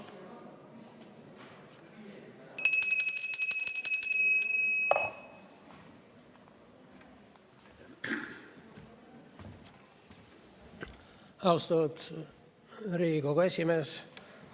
Austatud Riigikogu esimees!